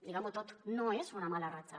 diguem ho tot no és una mala ratxa